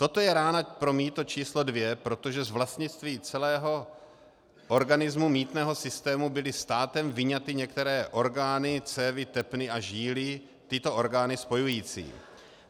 Toto je rána pro mýto číslo dvě, protože z vlastnictví celého organismu mýtného systému byly státem vyňaty některé orgány, cévy, tepny a žíly tyto orgány spojující.